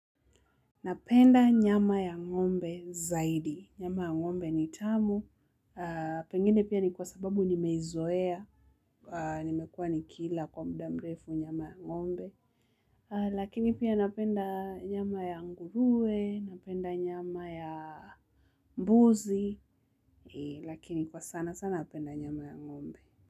Napenda nyama ya ng'ombe zaidi, nyama ya ng'ombe ni tamu, pengine pia ni kwa sababu nimeizoea, nimekuwa nikila kwa muda mrefu nyama ya ngombe, lakini pia napenda nyama ya nguruwe, napenda nyama ya mbuzi, lakini kwa sana sana napenda nyama ya ng'ombe.